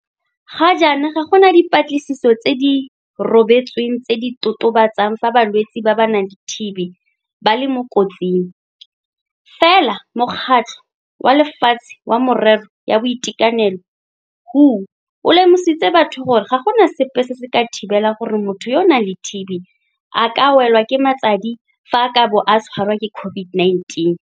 Ga jaana ga gona dipatlisiso tse di rebotsweng tse di totobatsang fa balwetse ba ba nang le TB ba le mo kotsing, fela Mokgatlho wa Lefatshe wa Merero ya Boitekanelo WHO o lemositse batho gore ga go sepe se se ka thibelang gore motho yo a nang le TB a ka welwa ke matsadi fa a ka bo a tshwarwa ke COVID-19.